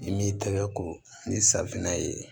I m'i tɛgɛ ko ni safinɛ ye